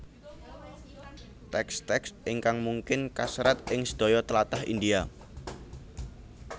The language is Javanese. Teks teks ingkang mungkin kaserat ing sedaya tlatah India